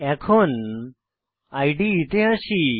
এখন ইদে তে আসি